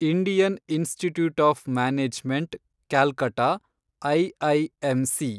Indian Institute of Management Calcutta, IIMC